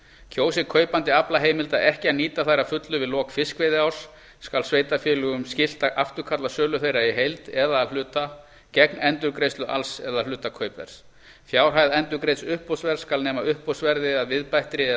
kjósi kaupandi aflaheimilda ekki að nýta þær að fullu við lok fiskveiðiárs skal sveitarfélögum skylt að afturkalla sölu þeirra í heild eða að hluta gegn endurgreiðslu alls eða hluta kaupverðs fjárhæð endurgreidds uppboðsverðs skal nema uppboðsverði að viðbættri eða